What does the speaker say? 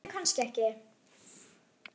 Þú reykir kannski ekki?